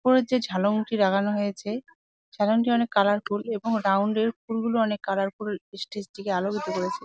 উপরের যে ঝালংটি লাগানো হয়েছে ঝালংটি অনেক কালারফুল এবং রাউন্ড -এর ফুলগুলো অনেক কালারফুল স্টেজ থেকে আলো এসে পড়েছে।